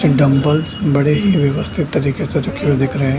Dumbbells बड़े ही व्यवस्थित तरीके से रखे दिख रहे हैं।